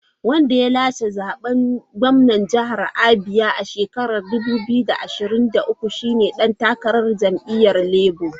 Wanda ya lashe zaben gwamnan jihar Abia a 2023 shi ne dan takarar jam’iyyar Labour.